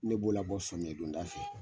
Ne b'o labɔ samiyɛ don da fɛ.